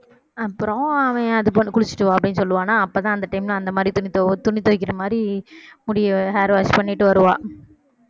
அப்புறம் அவன் அந்த பொண்ணு குளிச்சிட்டு வா அப்படின்னு சொல்லுவானா அப்பதான் அந்த time ல அந்த மாதிரி துணி துவ~ துணி துவைக்கிற மாதிரி முடியை hair wash பண்ணிட்டு வருவா